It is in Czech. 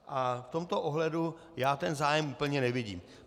A v tomto ohledu já ten zájem úplně nevidím.